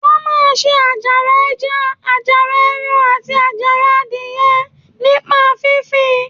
Wọ́n máa ń se àjàrà ẹja, àjàrà ẹran, àti àjàrà adìyẹ nípa fífi